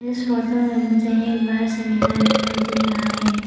इस फोटो में मुझे एक बड़ा सा मैदान दिखाई दे रहा है।